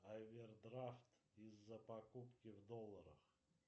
овердрафт из за покупки в долларах